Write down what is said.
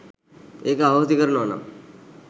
ඒක අහෝසි කරනවනම්